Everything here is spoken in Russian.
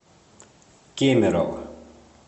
кемерово